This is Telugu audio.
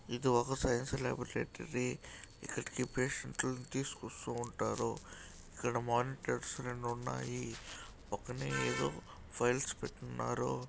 ఇది ఒక సైన్స్ లాబరేటరీ ఇక్కడికి పేషంట్ లను తీసుకొస్తూ ఉంటారు. ఇక్కడ మానిటర్స్ రెండు ఉన్నాయి. పక్కనే ఏదో ఫైల్స్ పెట్టి ఉన్నారు.